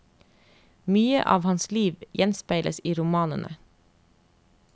Mye av hans liv gjenspeiles i romanene.